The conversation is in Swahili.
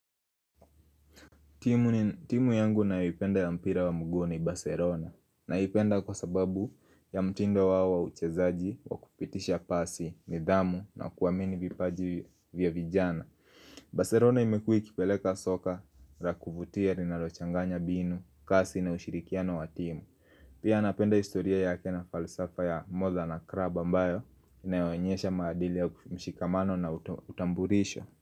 Timu yangu naipenda ya mpira wa mguu ni Barcelona Naipenda kwa sababu ya mtindo wa wa uchezaji wa kupitisha pasi, nidhamu na kuamini vipaji vya vijana Barcelona imekua ikipeleka soka ra kuvutia linalochanganya mbinu, kasi na ushirikiano wa timu Pia napenda historia yake na falsafa ya more na club ambayo inayoonyesha maadili ya mshikamano na utambulisho.